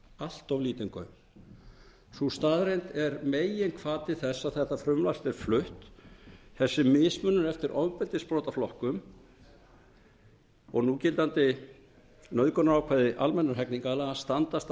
allt of lítinn gaum sú staðreynd er meginhvati þess að þetta frumvarp er flutt þessi mismunun eftir ofbeldisbrotaflokkum og núgildandi nauðgunarákvæði almennra hegningarlaga standast að mínu mati